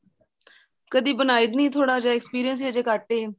ਕਦੇਂ ਬਣਾਦੀ ਦੀ ਨਹੀਂ ਥੋੜਾ ਜਾਂ experience ਹੀ ਅਜੇ ਘੱਟ ਏ